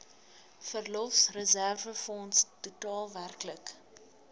verlofreserwefonds totaal werklik